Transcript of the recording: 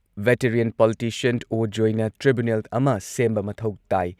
veteran politician ꯑꯣ.ꯖꯣꯢꯅ tribunal ꯑꯃ ꯁꯦꯝꯕ ꯃꯊꯧ ꯇꯥꯏ,